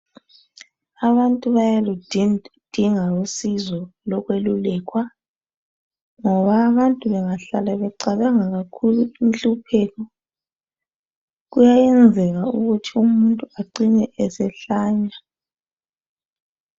Abantu bayaludinga usizo lokwelulekwa. Ngoba abantu bengahlala becabanga kakhulu inhlupheko, kuyenzeka ukuthi umuntu acine esehlanya.